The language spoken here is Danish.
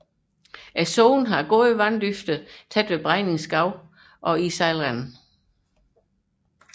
Sundet har god vanddybde tæt ved Bregninge Skov og i sejlrenden